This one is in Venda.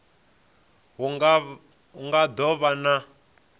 hu nga do vha na